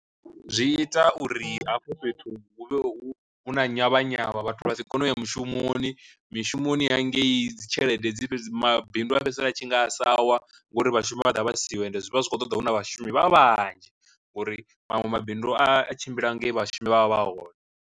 Zwi ita uri hafho fhethu hu vhe hu huna nyavhanyavha vhathu vha si kone u ya mushumoni, mishumoni ya ngei dzi tshelede dzi mabindu a fhedzisela a tshi nga a sa wa ngori vhashumi vha ḓovha vha siho and zwi vha zwi khou ṱoḓa huna vhashumi vhanzhi ngori maṅwe mabindu a tshimbila ngei vhashumi vha vha vha hone.